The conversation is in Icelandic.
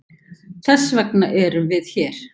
Þessvegna eru við hér.